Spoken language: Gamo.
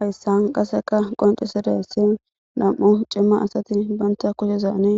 hayssan qaseka qoncisidasi nam7u cimma asati banta kucizaani